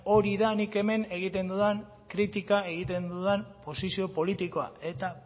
hori da nik hemen egiten dudan kritika egiten dudan posizio politikoa eta